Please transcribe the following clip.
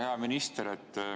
Hea minister!